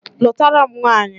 Lụtara m nwanyị